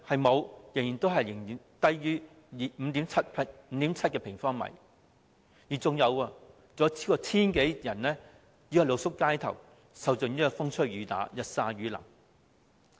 沒有，仍然只有 5.7 平方米，更有超過 1,000 人露宿街頭，受盡風吹雨打，日曬雨淋。